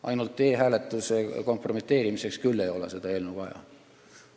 Ainult e-hääletuse kompromiteerimiseks ei ole seda eelnõu küll vaja.